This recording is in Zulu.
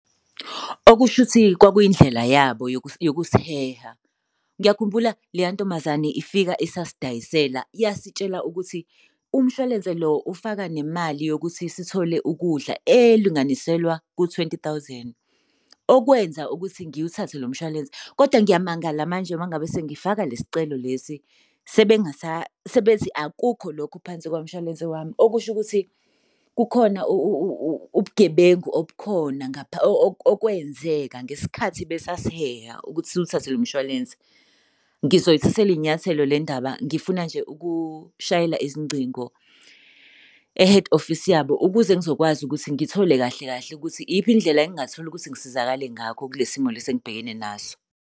Okusho ukuthi kwakuyindlela yabo yokusiheha. Ngiyakhumbula leya ntombazane ifika isasidayisela yasitshela ukuthi umshwalense lo ufaka nemali yokuthi sithole ukudla elinganiselwa ku-twenty thousand. Okwenza ukuthi ngiwuthathe lo mshwalense koda ngiyamangala manje uma ngabe sengifaka le sicelo lesi, sebethi akukho lokho phansi kwamshwalense wami. Okusho ukuthi kukhona ubugebengu obukhona okwenzeka ngesikhathi besasiheha ukuthi siwuthathe lo mshwalense. Ngizoyithathela iy'nyathelo le ndaba, ngifuna nje ukushayela izingcingo e-head office yabo ukuze ngizokwazi ukuthi ngithole kahle kahle ukuthi iyiphi indlela engatholi ukuthi ngisizakale ngakho kule simo leso engibhekene naso.